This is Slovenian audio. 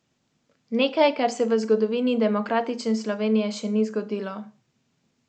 To naj bo enkrat do dvakrat na deset sekund.